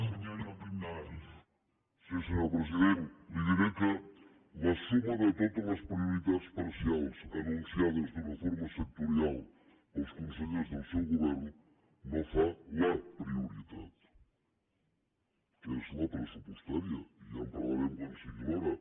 senyor president li diré que la suma de totes les prioritats parcials anunciades d’una forma sectorial pels consellers del seu govern no fa la prioritat que és la pressupostària i ja en parlarem quan sigui l’hora